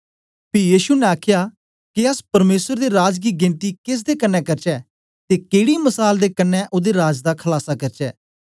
पी यीशु ने आखया के अस परमेसर दे राज दी गेनती केस दे कन्ने करचै ते केड़ी मसाल दे कन्ने ओदे राज दा खलासा करचै